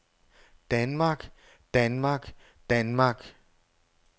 danmark danmark danmark